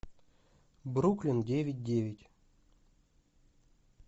бруклин девять девять